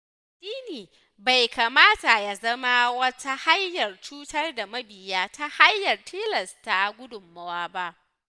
Addini bai kamata ya zama wata hanyar cutar da mabiya ta hanyar tilasta gudunmawa ba.